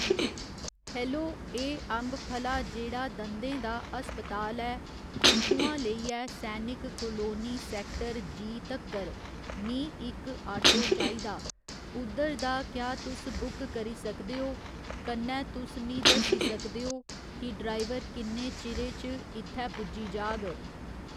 hello एह् अम्बफला जेह्ड़ा दंदे दा अस्पताल ऐ उत्थुआं लेइयै सैनिक कोलोनी सैक्टर जी तक्कर मी इक आटो चाहिदा उद्धर दा क्या तुस बुक करी सकदे ओ कन्नै तुस मी दस्सी सकदे ओ कि ड्राइवर किन्ने चीरे च इत्थै पुज्जी जाह्ग